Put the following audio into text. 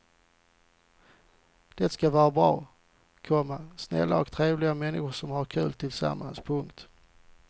Det ska vara bra, komma snälla och trevliga männskor som har kul tillsammans. punkt